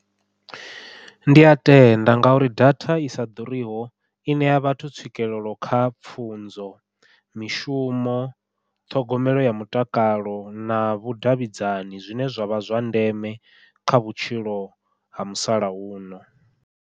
Ndi ya tenda ngauri data i sa ḓuriho i ṋea vhathu tswikelelo kha pfhunzo, mishumo, ṱhogomelo ya mutakalo na vhudavhidzani zwine zwa vha zwa ndeme kha vhutshilo ha musalauno.